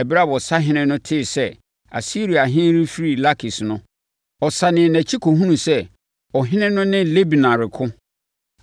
Ɛberɛ a ɔsahene no tee sɛ Asiriahene afiri Lakis no, ɔsanee nʼakyi kɔhunuu sɛ ɔhene no ne Libna reko.